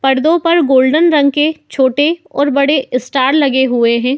पर्दों पर गोल्डन रंग के छोटे और बड़े स्टार लगे हुए हैं।